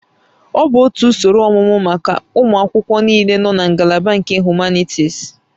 Ọ bụ otu usoro ọmụmụ maka ụmụ akwụkwọ niile nọ na ngalaba nke Humanities